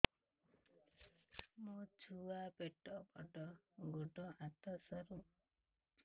ମୋ ଛୁଆ ପେଟ ବଡ଼ ଗୋଡ଼ ହାତ ସରୁ